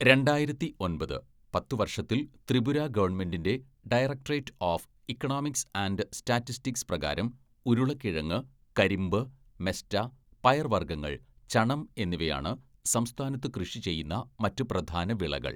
രണ്ടായിരത്തി ഒൻപത് , പത്ത് വര്‍ഷത്തില്‍ ത്രിപുര ഗവൺമെന്റിൻ്റെ directorate of economics and statistics പ്രകാരം ഉരുളക്കിഴങ്ങ്, കരിമ്പ്, മെസ്റ്റ, പയർവർഗ്ഗങ്ങൾ, ചണം എന്നിവയാണ് സംസ്ഥാനത്ത് കൃഷി ചെയ്യുന്ന മറ്റ് പ്രധാന വിളകൾ.